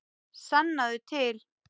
Sannaðu til.